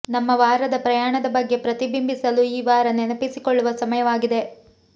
ನಮ್ಮ ವಾರದ ಪ್ರಯಾಣದ ಬಗ್ಗೆ ಪ್ರತಿಬಿಂಬಿಸಲು ಈ ವಾರ ನೆನಪಿಸಿಕೊಳ್ಳುವ ಸಮಯವಾಗಿದೆ